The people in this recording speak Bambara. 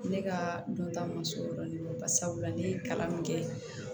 Ne ka dɔnta man se o yɔrɔ de kan sabula ne ye kalan min kɛ